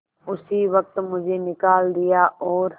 उसी वक्त मुझे निकाल दिया और